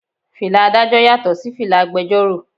Fìlà Ádájọ́ yàtò sí fìlà agbẹjoro.